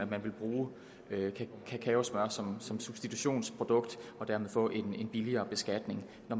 vil bruge kakaosmør som substitutionsprodukt og dermed få en billigere beskatning når